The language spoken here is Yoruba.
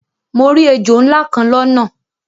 Mo ri èjò nlá kan lọ́nà